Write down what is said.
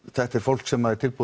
þetta er fólk sem er til